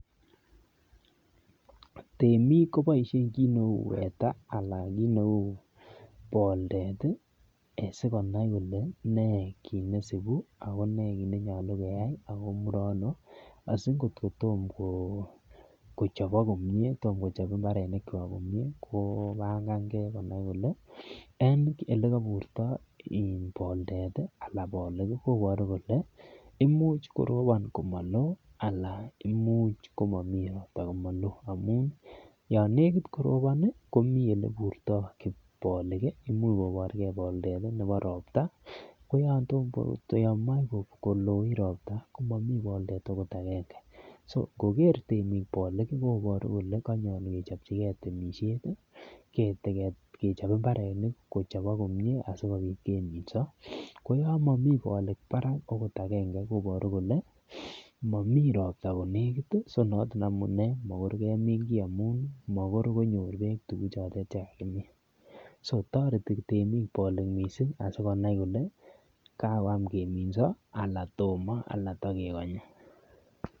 Temiik koboishen kiit neu (SC) weather (SC) anan ko kiit neu poldet asikonai kole nee kiit neisibu ak konee kiit nenyolu keyai ak komure ano asi angot ko Tomo kochobok komyee kobang'angee en olekoburto poldet koboru kole, imuch korobon komaloo anan ko imuch komomii ropta komaloo amuun, Yoon nekit korobon komii oleburtoo polik, imuch koborgee poldet nebo ropta, ko oloon moche koloit ropta komomii poldet akot age'nge, so angoger temik polik koboru kole kon'yool kechopchigee temisiet, kechop mbarenik kochobok komyee asikopiit keminso, ko oloon momii polik Barak okot age'nge koboru kole momii ropta konekit, konoton amunee makoi kemiin kii amuun manyoru beek tuguk che kakimiin,(SC) so (SC) toreti temiik missing asikonai kole kakoyam keminso anan Tomo.